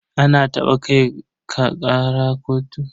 An taɓa kai ka ƙara kotu?